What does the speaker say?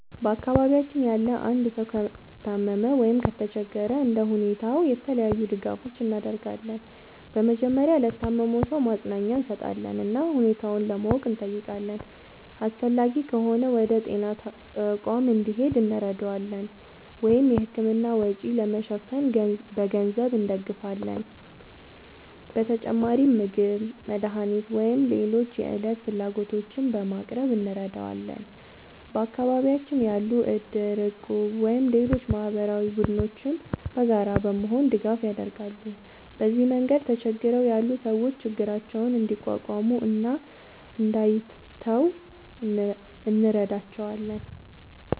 በአካባቢያችን ያለ አንድ ሰው ከታመመ ወይም ከተቸገረ እንደ ሁኔታው የተለያዩ ድጋፎችን እናደርጋለን። በመጀመሪያ ለታመመው ሰው ማጽናኛ እንሰጣለን እና ሁኔታውን ለማወቅ እንጠይቃለን። አስፈላጊ ከሆነ ወደ ጤና ተቋም እንዲሄድ እንረዳዋለን ወይም የሕክምና ወጪ ለመሸፈን በገንዘብ እንደግፋለን። በተጨማሪም ምግብ፣ መድኃኒት ወይም ሌሎች የዕለት ፍላጎቶችን በማቅረብ እንረዳዋለን። በአካባቢያችን ያሉ እድር፣ እቁብ ወይም ሌሎች ማህበራዊ ቡድኖችም በጋራ በመሆን ድጋፍ ያደርጋሉ። በዚህ መንገድ ተቸግረው ያሉ ሰዎች ችግራቸውን እንዲቋቋሙ እና እንዳይተዉ እንረዳቸዋለን።